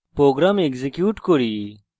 program execute করি